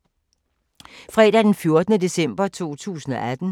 Fredag d. 14. december 2018